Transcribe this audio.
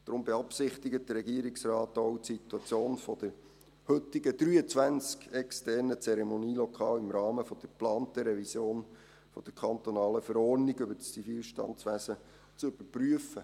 Deshalb beabsichtigt der Regierungsrat auch, die Situation der heute 23 externen Zeremonielokale im Rahmen der geplanten Revision der ZV zu überprüfen.